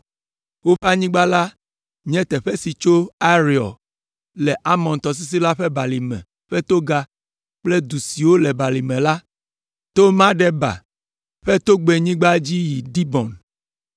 Woƒe anyigba la nye teƒe si tso Areor, le Arnon tɔsisi la ƒe balime ƒe toga kple du siwo le balime la, to Medeba ƒe togbɛnyigba dzi yi Dibon.